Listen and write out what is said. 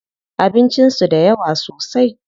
Abincin su da yawa sosai.